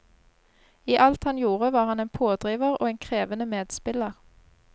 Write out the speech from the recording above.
I alt han gjorde, var han en pådriver og en krevende medspiller.